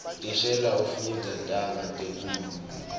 thishela ufundza taga tenkhulumo